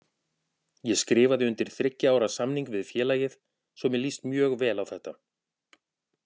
Ég skrifaði undir þriggja ára samning við félagið svo mér líst mjög vel á þetta.